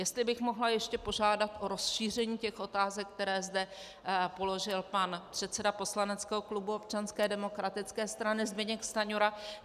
Jestli bych mohla ještě požádat o rozšíření těch otázek, které zde položil pan předseda poslaneckého klubu Občanské demokratické strany Zbyněk Stanjura.